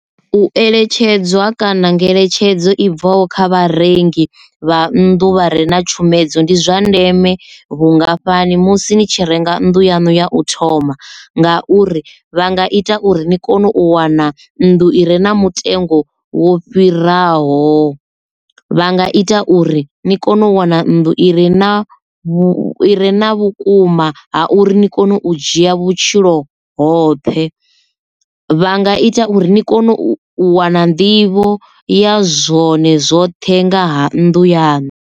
U eletshedzwa kana ngeletshedzo i bvaho kha vharengi vha nnḓu vha re na tshumedzo ndi zwa ndeme vhungafhani musi ni tshi renga nnḓu yanu ya u thoma ngauri vha nga ita uri ni kone u wana nnḓu ire na mutengo wo fhiraho. Vha nga ita uri ni kone u wana nnḓu ire na vha re na vhukuma ha uri ni kone u dzhia vhutshilo hoṱhe. Vha nga ita uri ni kone u wana nḓivho ya zwone zwoṱhe nga ha nnḓu yaṋu.